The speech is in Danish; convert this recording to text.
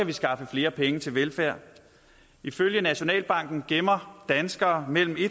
vi skaffe flere penge til velfærd ifølge nationalbanken gemmer danskere mellem